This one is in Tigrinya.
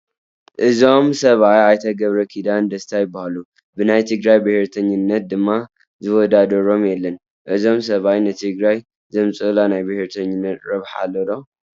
እዞም ሰብኣይ ኣይተ ገብረኺዳን ደስታ ይበሃሉ፡፡ ብናይ ትግራይ ብሄርተኝነት ድማ ዝወዳዳሮም የለን፡፡ እዞም ሰብኣይ ንትግራዋይ ዘምፅኡሉ ናይ ብሄርተኝነት ረብሓ ኣሎ ዶ?